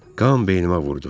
Qan beynimə vurdu.